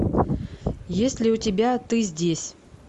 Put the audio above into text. есть ли у тебя ты здесь